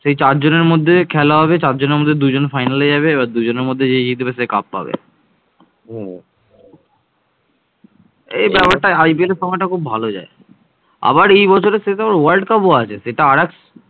শুধু বাঙ্গালী জাতিই নয়, প্রাচীনকালে ভারতের পূর্বাঞ্চলের বিভিন্ন জাতি